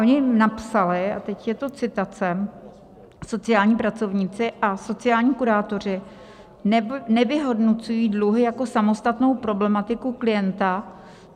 Oni napsali - a teď je to citace: "Sociální pracovníci a sociální kurátoři nevyhodnocují dluhy jako samostatnou problematiku klienta.